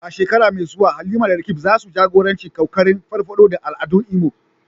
A shekara mai zuwa, Halima da Roqeeb za su jagoranci kokarin farfado da al'adun Imo.